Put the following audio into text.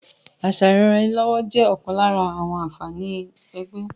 Àṣà ìranraẹnilọ́wọ́ jẹ́ ọ̀kan lára àǹfààní ẹgbẹ́